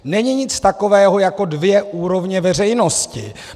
Není nic takového jako dvě úrovně veřejnosti.